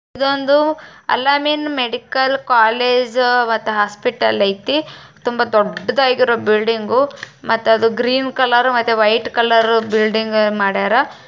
ಇದೊಂದು Al - Ameen medical college ಮತ್ತು hospital ಐತಿ ತುಂಬ ದೊಡ್ಡದಾಗಿರೊ ಬಿಲ್ಡಿಂಗು ಮತ್ತೆ ಅದು ಗ್ರೀನ್ ಕಲರ್ ಮತ್ತೆ ವೈಟ್ ಕಲರ್ ಬಿಲ್ಡಿಂಗ್ ಮಾಡಿಯಾರ.